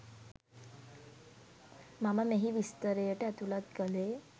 මම මෙහි විස්තරයට ඇතුලත් කළේ